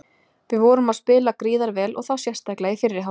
Við vorum að spila gríðar vel og þá sérstaklega í fyrri hálfleik.